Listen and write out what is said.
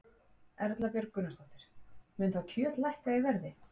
Erla Björg Gunnarsdóttir: Mun þá kjöt lækka í verði?